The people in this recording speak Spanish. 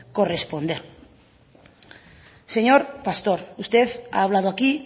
corresponder señor pastor usted ha hablado aquí